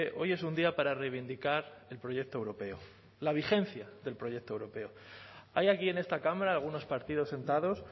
hoy es un día para reivindicar el proyecto europeo la vigencia del proyecto europeo hay aquí en esta cámara algunos partidos sentados